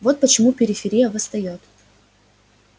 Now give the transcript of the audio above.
вот почему периферия восстаёт